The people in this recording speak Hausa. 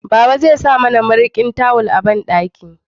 Baba zai sa mana mariƙin tawul a banɗaki